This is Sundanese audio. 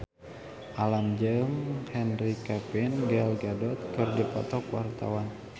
Alam jeung Henry Cavill Gal Gadot keur dipoto ku wartawan